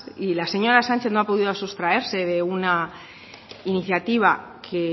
y la señora sánchez no ha podido sustraerse de una iniciativa que